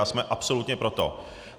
A jsme absolutně pro to.